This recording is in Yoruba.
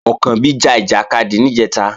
Ọ̀kànbí ja ìjàkadì níjẹ̀ta